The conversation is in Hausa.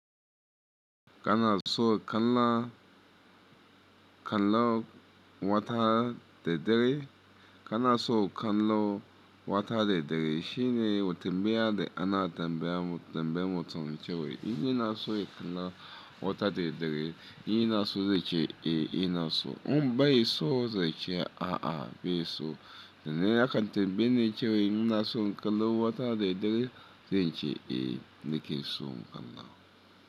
Kana so ka kalla, ka kallo wata da dare? Kana so kallo wata daidare shine watin baya da ana tambaya mu, tambaye mutane cewa in ina so in kalla wata daidare, in ina so zai ce eh ina so. In bai so zai ce a'a bai so. Sa nan a kan tambaye ni cewa ina so in kallo wata daidare? Zai ce eh nake so in kalla.